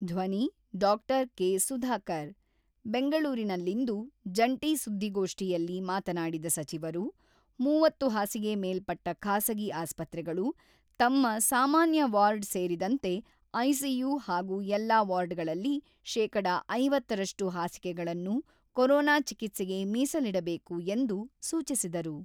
(ಧ್ವನಿ-ಡಾ.ಕೆ.ಸುಧಾಕರ್) ಬೆಂಗಳೂರಿನಲ್ಲಿಂದು ಜಂಟಿ ಸುದ್ದಿಗೋಷ್ಠಿಯಲ್ಲಿ ಮಾತನಾಡಿದ ಸಚಿವರು, ಮೂವತ್ತು ಹಾಸಿಗೆ ಮೇಲ್ಪಟ್ಟ ಖಾಸಗಿ ಆಸ್ಪತ್ರೆಗಳು ತಮ್ಮ ಸಾಮಾನ್ಯ ವಾರ್ಡ್ ಸೇರಿದಂತೆ ಐಸಿಯು ಹಾಗೂ ಎಲ್ಲಾ ವಾರ್ಡ್‌ಗಳಲ್ಲಿ ಶೇಕಡಾ ಐವತ್ತರಷ್ಟು ಹಾಸಿಗೆಗಳನ್ನು ಕೊರೋನಾ ಚಿಕಿತ್ಸೆಗೆ ಮೀಸಲಿಡಬೇಕು ಎಂದು ಸೂಚಿಸಿದರು.